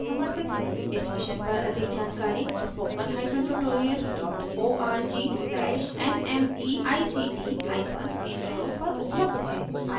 इस मिशन पर अधिक जानकारी